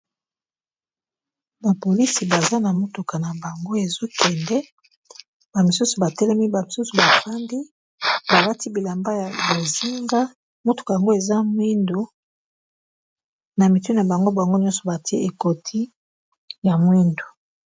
bapolisi baza na motuka na bango ezokende bamisusu batelemi ba misusu bafandi balati bilamba ya bozinga motuka yango eza mwindu na mitu na bango bango nyonso batie ekoti ya mwindu